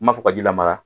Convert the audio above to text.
N m'a fɔ ka ji lamara